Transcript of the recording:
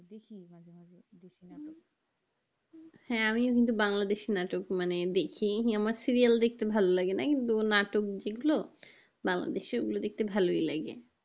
হ্যাঁ আমি কিন্তু বাংলাদেশি নাটক মানে দেখি আমার serial দেখতে ভালো লাগে না কিন্তু নাটক যে~গুলো বাংলাদেশি ওই গুলো দেখতে ভালোই লাগে